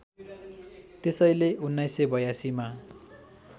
त्यसैले १९८२ मा